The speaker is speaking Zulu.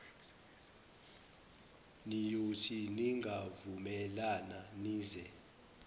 niyothi ningavumelana nize